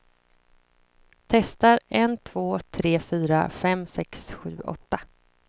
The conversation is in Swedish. Testar en två tre fyra fem sex sju åtta.